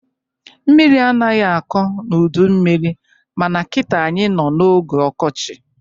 Mmiri anaghị akọ n'udu mmiri ma na kita, anyị nọ n'oge ọkọchị